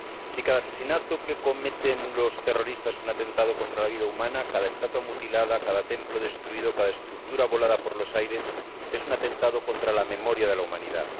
Si cada asesinato que cometen los terroristas es un atentado contra la vida humana, cada estatua mutilada, cada templo destruido, cada estructura volada por los aires es un atentado contra la memoria de la humanidad.